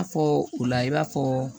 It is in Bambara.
A fɔ u la i b'a fɔ